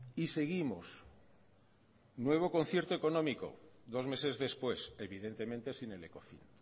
y seguimos nuevo concierto económico dos meses después evidentemente sin el ecofin